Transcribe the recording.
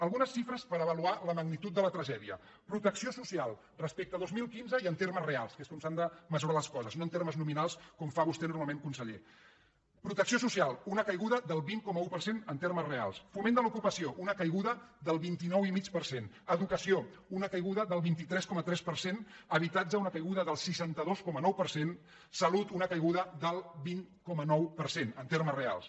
algunes xifres per avaluar la magnitud de la tragè·dia protecció social respecte a dos mil quinze i en termes reals que és com s’han de mesurar les coses no en termes nominals com fa vostè normalment conseller una caiguda del vint coma un per cent en termes reals foment de l’ocupació una caiguda del vint nou i mig per cent educa·ció una caiguda del vint tres coma tres per cent habitatge una cai·guda del seixanta dos coma nou per cent salut una caiguda del vint coma nou per cent en termes reals